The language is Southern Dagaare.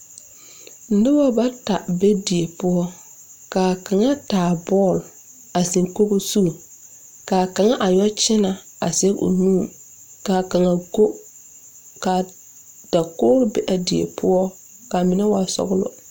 Nobɔ bata be die poɔ kaa kaŋa taa bɔɔl a zeŋ kogo zu kaa kaŋa a yɔ kyɛnɛ a zege o nu ka kaŋa go kaa dakoge be a die poɔ ka mine waa sɔglɔ.